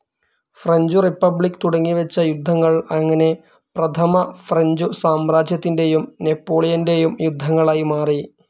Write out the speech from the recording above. French republic തുടങ്ങിവെച്ച യുദ്ധങ്ങൾ അങ്ങനെ പ്രഥമ ഫ്രഞ്ച്‌ സാമ്രാജ്യത്തിന്റേയും നെപോളിയന്റേയും യുദ്ധങ്ങളായി മാറി.